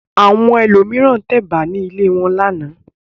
Àwọn ẹlòmíràn tẹ ẹ̀bà ní ilé wọn lánàá.